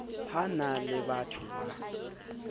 ho na le batho ba